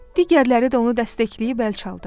Digərləri də onu dəstəkləyib əl çaldı.